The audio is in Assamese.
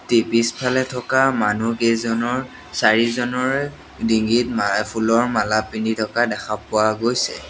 টি পিছফালে থকা মানুহ কেইজনৰ চাৰিজনৰে ডিঙিত মা ফুলৰ মালা পিন্ধি থকা দেখা পোৱা গৈছে।